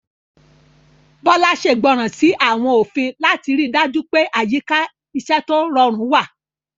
Bola ṣègbọràn sí àwọn òfin láti rí i dájú pé àyíká iṣẹ́ tó rọrùn wà.